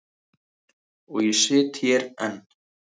Og ég sit hér enn.